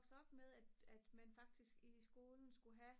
vokset op med at man faktisk i skolen skulle have